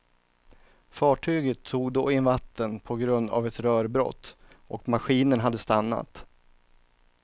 Fartyget tog då in vatten på grund av ett rörbrott och maskinen hade stannat.